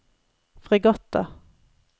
fregatter